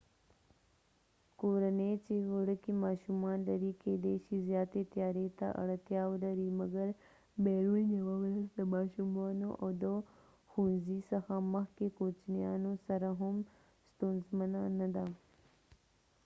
کورنۍ چې وړکې ماشومان لري کېدای شي زیاتی تیارۍ ته اړتیا ولري .مګر بیرون یوه ورځ د ماشومانو او د ښوونځی څخه مخکې کوچنیانو سره هم ستونزمنه نه ده